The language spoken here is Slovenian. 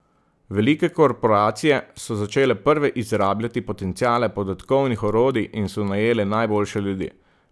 Velike korporacije so začele prve izrabljati potenciale podatkovnih orodij in so najele najboljše ljudi.